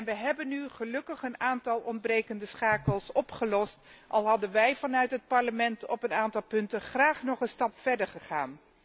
We hebben nu gelukkig een aantal ontbrekende schakels opgelost, al waren wij als Parlement op een aantal punten graag nog een stap verder gegaan.